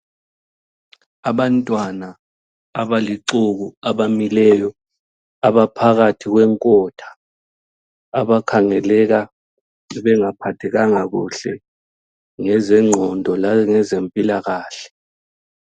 Abantwana abalixuku abamileyo abaphakathi kwenkotha abakhangeleka bengaphathekanga kuhle ngezengqondo langezempilakahle.